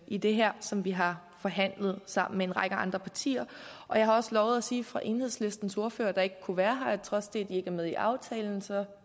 i det her som vi har forhandlet sammen med en række andre partier jeg har også lovet at sige fra enhedslistens ordfører der ikke kunne være her at trods det at ikke er med i aftalen